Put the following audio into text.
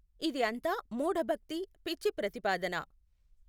ఇది అంతా మూఢ భక్తి పిచ్చి ప్రతిపాదన.